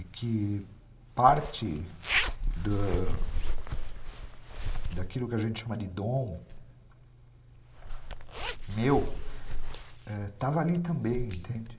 E que parte da daquilo que a gente chama de dom meu estava ali também , entende?